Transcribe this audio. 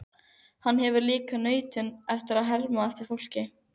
Hann hefur líka nautn af að herma eftir fólki.